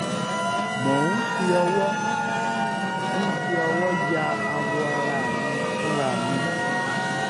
mò ń fi ọwọ ń fi ọwọ ya awọ ara mi fúnra mi